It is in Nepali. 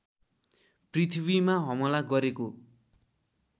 पृथ्वीमा हमला गरेको